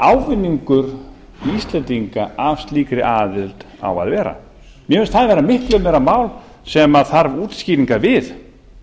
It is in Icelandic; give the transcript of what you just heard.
ávinningur íslendinga að slíkri aðild á að vera mér finnst það vera miklu meira mál sem þarf útskýringa við